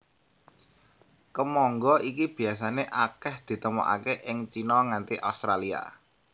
Kemangga iki biasané akèh ditemokaké ing Cina nganti Australia